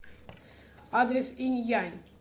адрес инь янь